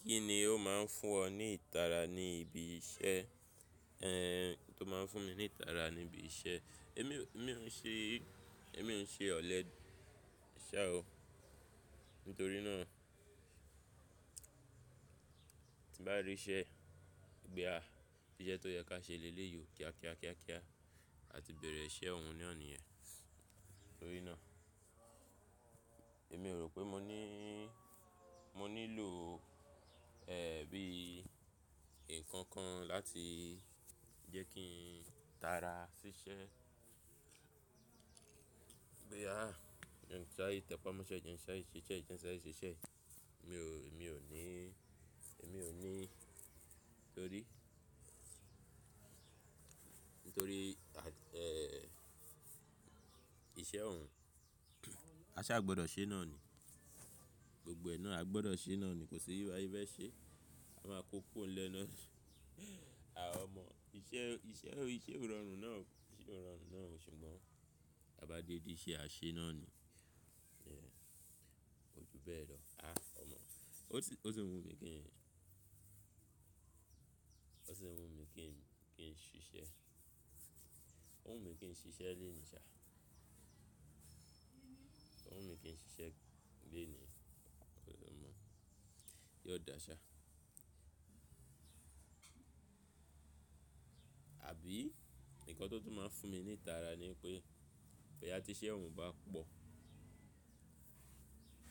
Kí ni ó má ń fún ọ ní ìtara ní ibi iṣẹ́? Tó má ń fún mi ní ìtara ní ibi iṣẹ́. Èmi, èmi ò ń ṣe, èmi ò ń ṣe ọ̀lẹ, ṣá o. Nítorí náà tíbá rí iṣẹ́, boyà, íṣẹ́ tó yẹ ká ṣe lélè yiọ kíá kíá kíá kíá, a ti bẹ̀rẹ̀ iṣẹ́ òun na ni yèn. Nítorí náà èmi ò rò pé mo ní, mo nílò, bí ǹkan kan láti jẹ́ kí n tara ṣíṣẹ́. Boyà, jẹ́ n ṣáre tẹpá mọ́ṣẹ́ jẹ́ n ṣáre sise yìí, jẹ́ n ṣáre sise yìí, mi o. Èmi ò ní, èmi ò ní, torí, nítorí, à, ehn, iṣẹ́ òun, a sá gbọdọ̀ ṣe náà ni. Gbogbo ẹ nàa, a gbọdọ̀ ṣe náà ni, kò sí báṣe fe se. A máa kó o kúrò ńlẹ̀ ná. Ọmọ, iṣẹ́, iṣẹ́, iṣẹ́ ò rọrùn náà o, iṣẹ́ ò rọrùn náà ṣùgbọ́n ta bá débi iṣẹ́, àá ṣeé náà ni. Yeah, kò jù bẹ́ẹ̀ lọ. Áà ọmọ. Ó sì, ó sì ń wù mí kí n, ó sì ń wù mí kí n, kí n ṣiṣẹ́. Ó wù mí kí n ṣiṣẹ́ lénìí ṣá. Ó wù mí kí n ṣiṣẹ́ lénìí, ó sì mọ̀. Yóò dáa ṣá. Àbí nǹkan tó tún máa ń fún mi nítara ni wípé, bóyá tíṣẹ́ ọ̀hún bá pọ̀,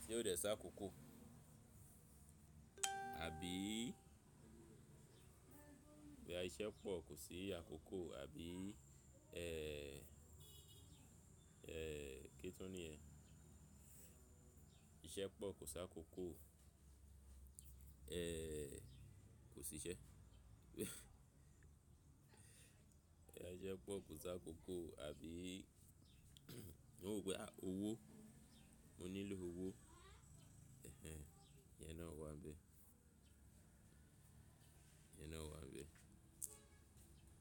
tí ò dẹ̀ sákòókò. Àbí, bóyá iṣẹ́ pọ̀ kò sí àkókò àbí, kí tún nìyẹn? Ìṣẹ́ pọ̀ kò sákòókó, kò síṣẹ́. Bóyá iṣẹ́ pọ̀ kò sákòókó, àbí, mò ń wòó pé owó, mo nílò owó. Ìyẹn náà wà ńbẹ̀. Iyená wá ǹ bé.